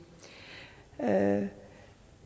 er ikke